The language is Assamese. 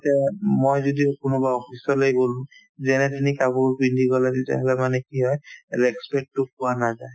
এতিয়া মই যদি কোনোবা office লে গ'লো যেনে তুমি কাপোৰ পিন্ধিবলৈ দিছা সেনেকুৱা মানে কি হয় respect তো পোৱা নাযায়